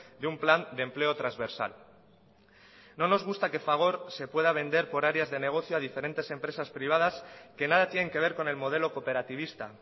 de un plan de empleo transversal no nos gusta que fagor se pueda vender por áreas de negocio a diferentes empresas privadas que nada tienen que ver con el modelo cooperativista